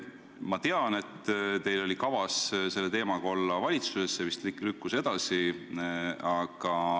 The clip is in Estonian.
Ma tean, et teil oli kavas seda teemat valitsuses arutada, aga see vist lükkus edasi.